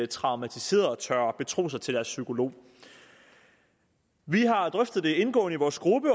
traumatiserede tør betro sig til deres psykolog vi har drøftet det indgående i vores gruppe